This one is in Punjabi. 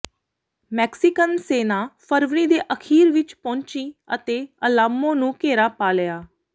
ਮੈਕਸੀਕਨ ਸੈਨਾ ਫਰਵਰੀ ਦੇ ਅਖ਼ੀਰ ਵਿਚ ਪਹੁੰਚੀ ਅਤੇ ਅਲਾਮੋ ਨੂੰ ਘੇਰਾ ਪਾ ਲਿਆ